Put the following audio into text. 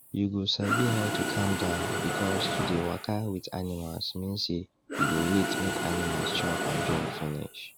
you go sabi how to calm down because to dey waka with animals mean say you go wait make animals chop and drink finish